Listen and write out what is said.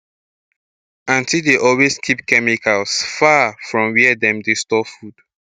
aunty dey always keep chemicals far from where dem dey store food